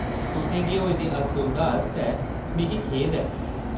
तुसें गी होई दी असुविधा आस्तै मिगी खेद ऐ।